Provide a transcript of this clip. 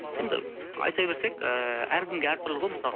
енді айта берсек ыыы әркімге әртүрлі ғой мысалы